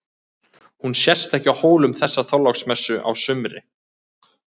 Hún sést ekki á Hólum þessa Þorláksmessu á sumri.